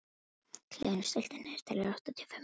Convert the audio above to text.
Hlynur, stilltu niðurteljara á áttatíu og fimm mínútur.